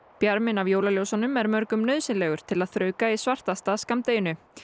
bjarminn af jólaljósunum er mörgum nauðsynlegur til að þrauka svartasta skammdegið